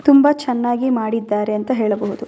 ತುಂಬ ಚೆನ್ನಾಗಿ ಮಾಡಿದ್ದಾರೆ ಅಂತ ಹೇಳಬಹುದು.